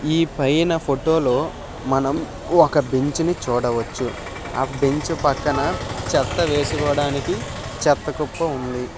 ఈ పైన ఫోటో లో ఒక బెంచ్ ని చూడవచ్చు. ఆ బెంచ్ పక్కన చెత్త వేసుకోవడానికి చెత్త కుప్ప ఉంది.